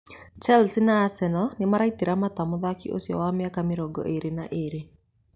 Chelsea na Arsenal nĩmaraitĩra mata mũthaki ũcio wa mĩaka mĩrongo ĩĩrĩ na ĩĩrĩ